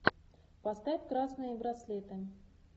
поставь красные браслеты